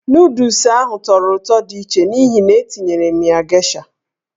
Nụdụls ahụ tọrọ ụtọ di iche n'ihi na-etinyere m ya geisha.